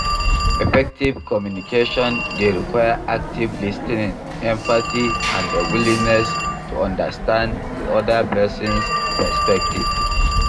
Effective communication dey require active lis ten ing, empathy and a willingness to understand di oda person's perspective.